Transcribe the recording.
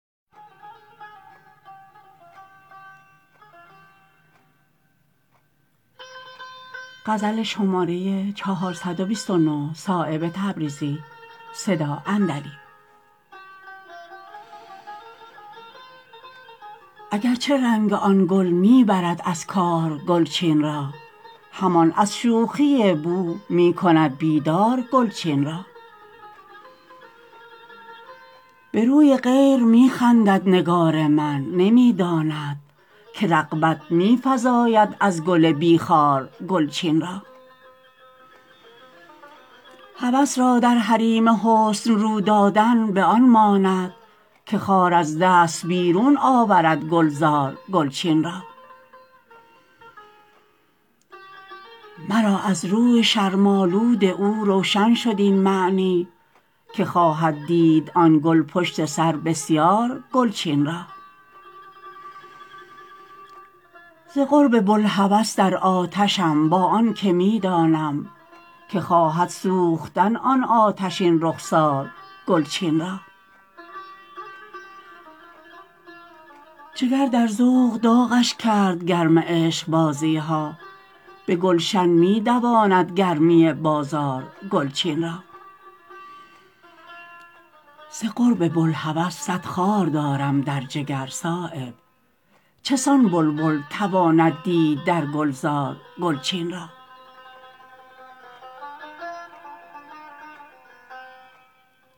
اگر چه رنگ آن گل می برد از کار گلچین را همان از شوخی بو می کند بیدار گلچین را به روی غیر می خندد نگار من نمی داند که رغبت می فزاید از گل بی خار گلچین را هوس را در حریم حسن رو دادن به آن ماند که خار از دست بیرون آورد گلزار گلچین را مرا از روی شرم آلود او روشن شد این معنی که خواهد دید آن گل پشت سر بسیار گلچین را ز قرب بوالهوس در آتشم با آن که می دانم که خواهد سوختن آن آتشین رخسار گلچین را جگر را در ذوق داغش کرد گرم عشقبازی ها به گلشن می دواند گرمی بازار گلچین را ز قرب بوالهوس صد خار دارم در جگر صایب چسان بلبل تواند دید در گلزار گلچین را